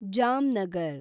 Jamnagar